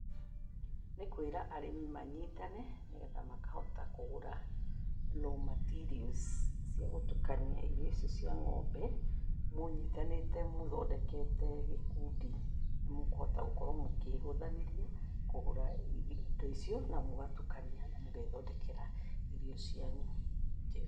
Nĩ kwĩra arĩmi manyitane nĩgetha makahota kũgũra raw materials cia gũtukania irio icio cia ng'ombe, mũnyitanĩte mũthondekete gĩkundi nĩ mũkũhota gũkorwo mũkĩhũthanĩria kũgũra indo icio na mũgatukania na mũgethondekera irio cianyu.